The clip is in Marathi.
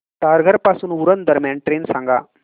तारघर पासून उरण दरम्यान ट्रेन सांगा